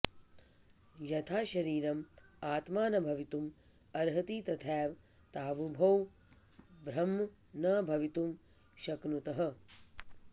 यथा शरीरम् आत्मा न भवितुम् अर्हति तथैव तावुभौ ब्रह्म न भवितुं शक्नुतः